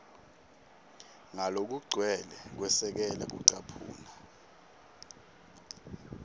ngalokugcwele kwesekela kucaphuna